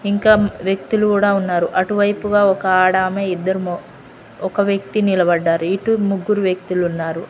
ఇంకా వ్యక్తులు కూడా ఉన్నారు అటువైపుగా ఒక ఆడ ఆమె ఇద్దరు మొ ఒక వ్యక్తి నిలబడ్డారు ఇటు ముగ్గురు వ్యక్తులున్నారు.